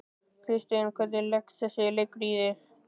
Kristinn, hvernig leggst þessi leikur í þig?